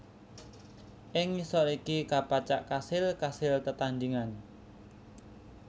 Ing ngisor iki kapacak kasil kasil tetandhingan